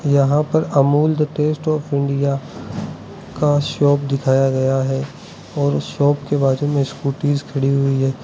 यहां पर Amul the taste of India का शॉप दिखाया गया है और शॉप के बाजू में स्कूटीज खड़ी हुई है।